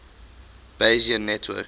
bayesian networks